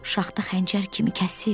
Şaxta xəncər kimi kəsir.